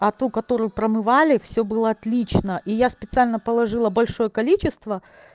а ту которую промывали все было отлично и я специально положила большое количество